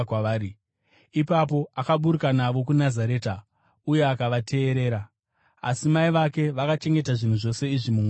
Ipapo akaburuka navo kuNazareta uye akavateerera. Asi mai vake vakachengeta zvinhu zvose izvi mumwoyo mavo.